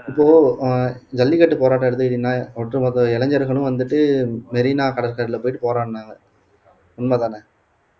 இப்போக்கூட அஹ் ஜல்லிக்கட்டு போராட்டம் எடுத்துகிட்டீங்கன்னா ஒட்டுமொத்த இளைஞர்களும் வந்துட்டு மெரினா கடற்கரையில போயிட்டு போராடுனாங்க உண்மைதானே